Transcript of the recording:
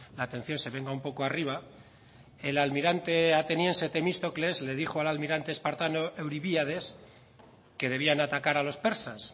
la atención se venga un poco arriba el almirante ateniense temístocles le dijo al almirante espartano euribíades que debían atacar a los persas